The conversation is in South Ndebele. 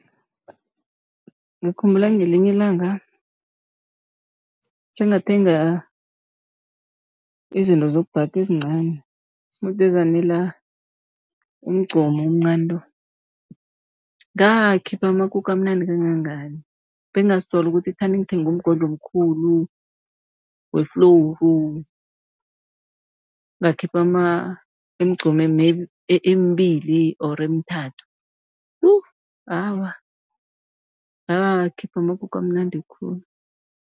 Ngikhumbula ngelinye ilanga fengathenga izinto zokubhaga ezincani, mudi ezanela umgcomu omncani lo. Ngakhipha amakuke amnandi kangangani, bengazisola ukuthi thani ngithenge umgodla omkhulu weflowuru, ngakhipha imigqomu maybe emibili or emithathu. Yu awa ngakhipha amakuke amnandi khulu.